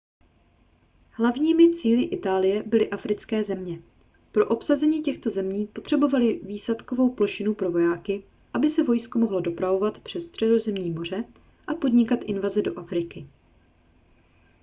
hlavními cíli itálie byly africké země pro obsazení těchto zemí potřebovali výsadkovou plošinu pro vojáky aby se vojsko mohlo dopravovat přes středozemní moře a podnikat invaze do afriky